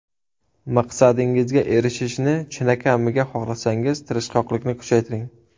Maqsadingizga erishishni chinakamiga xohlasangiz tirishqoqlikni kuchaytiring.